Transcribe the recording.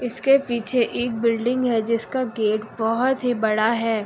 उसके पीछे एक बिल्डिंग है जिसका गेट बहुत ही बड़ा है।